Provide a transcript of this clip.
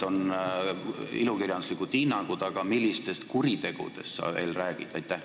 On küll ilukirjanduslikud hinnangud, aga millistest kuritegudest sa veel räägid?